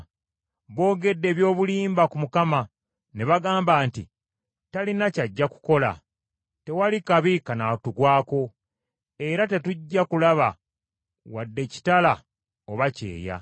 Boogedde eby’obulimba ku Mukama ne bagamba nti, “Talina kyajja kukola, tewali kabi kanaatugwako, era tetujja kulaba wadde kitala oba kyeya.